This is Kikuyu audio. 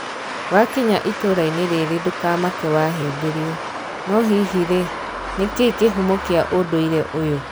Wakinya itũrainĩ rĩrĩ ndũkamake wahimbĩrio 'Noo hii rĩĩ, nĩkĩ kihũmo kia ũndũire ũyũ?